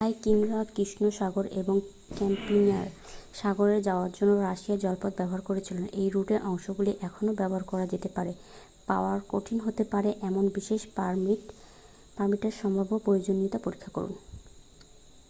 ভাইকিংরা কৃষ্ণ সাগর এবং ক্যাস্পিয়ান সাগরে যাওয়ার জন্য রাশিয়ান জলপথ ব্যবহার করেছিল এই রুটের অংশগুলি এখনও ব্যবহার করা যেতে পারে পাওয়া কঠিন হতে পারে এমন বিশেষ পারমিটের সম্ভাব্য প্রয়োজনীয়তা পরীক্ষা করুন